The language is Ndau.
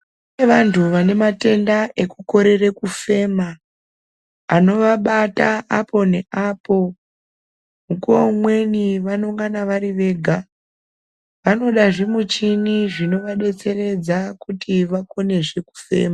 Kune vantu vane matenda ekukorera kufema anovabata apo nepapo. Mukuvo umweni vanongana vari voga vanoda zvimichini zvinovadetseredza kuti vakonezve kufema.